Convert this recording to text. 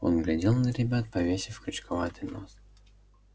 он глядел на ребят повесив крючковатый нос